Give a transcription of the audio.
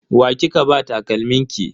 Wa kika ba takalmin ki?